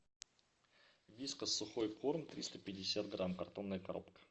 вискас сухой корм триста пятьдесят грамм картонная коробка